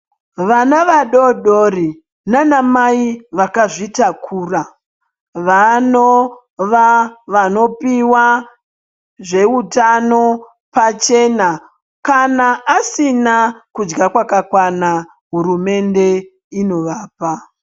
Vana vadodori naanamai vakazvitakura vanova vanopiwa zveutano pachena, kana asina kudya kwakakwana hurumende inovapa.